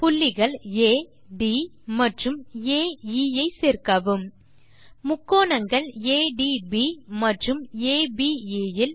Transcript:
புள்ளிகள் ஆ ட் மற்றும் ஆ எ ஐ சேர்க்கவும் முக்கோணங்கள் ஏடிபி மற்றும் அபே இல்